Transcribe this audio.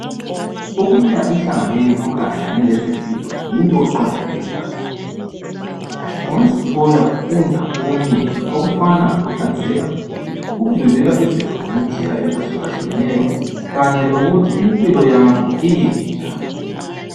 Ukuya emhlanganweni okhangelane lezempilo yinto eqakatheke kakhulu ungazithola ufunda okunengi okufana lokuhlanzeka ukuvimbela izifo ngendlela ezahlukahlukeneyo kanye lokuthi impilo yakho imi njani.